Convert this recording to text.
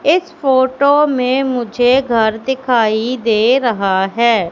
इस फोटो में मुझे घर दिखाई दे रहा है।